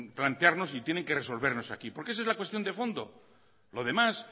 plantearnos y tienen que resolvernos aquí porque esa es la cuestión de fondo